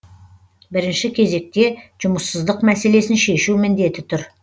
бірінші кезекте жұмыссыздық мәселесін шешу міндеті тұр